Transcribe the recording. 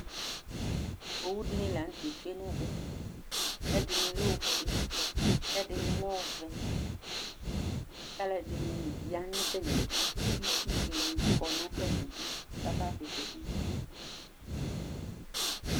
owudɩnɩ lanʊtɛ tsue nʊ ɛmɛ, ɛdɩnɩ lɛ ofue, ɛdɩnɩ lɛ ɔvɛ, kʊ alʊɛdɩnɩ ya nʊ atmidu, kʊ itsu dɩnɩ kɔ nʊ atamidu, kʊ avavlitsɛ bɩ tsue